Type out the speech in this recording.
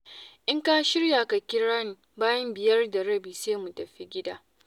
In ka shirya ka kira ni bayan biyar da rabi sai mu tafi gida.